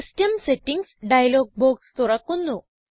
system settings dialog box തുറക്കുന്നു